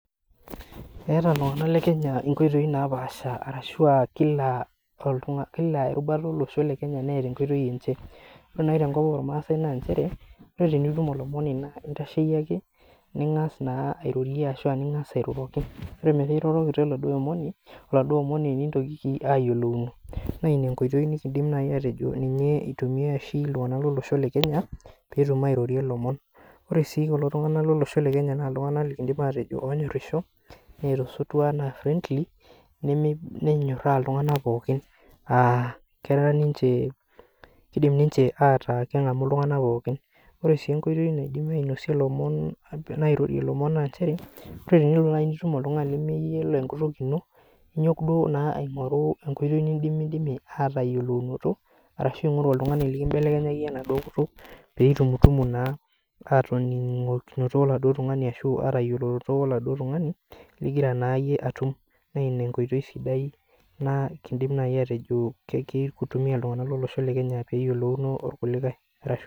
Eeta iltung'anak le kenya inkoitoi napaasha arashua kila oltung'a ashu kila erubata olosho le kenya neeta enkoitoi enche ore naai tenkop ormaasae nanchere ore tinitum olomoni naa intasheyie ake ning'as naa airorie ashua ning'as airoroki ore metaa irorokito oladuo omoni oladuo omoni nintokiki ayiolouno naina enkoitoi nikindim naaji atejo ninye eitumia shi iltung'anak lolosho le kenya petu airorie ilomon ore sii kulo tung'anak lolosho le kenya naa iltung'nak likindim atejo onyorrisho neeta osotua naa friendly[cs nemi nenyorra iltung'anak pookin uh kera ninche kidim ninche ataa keng'amu iltung'anak pookin ore sii enkoitoi naidimi ainosie ilomon nairorie ilomon nanchere ore tenelo naaji nitum oltung'ani lemeyiolo enkutuk ino inyok naa duo aing'oru enkoitoi nindimidimi atayiolounoto arashu ing'oru oltung'ani likimbelekenyaki enaduo kutuk peitumutumu naa atoning'okinoto oladuo tung'ani ashu atayioloroto oladuo tung'ani nigira naayie atum naa ina enkoitoi sidai naa kindim naaji atejo keiki kitumia iltung'anak lolosho le kenya peyiolouno orkulikae arashu.